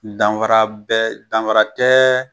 Danfara bɛ danfara tɛ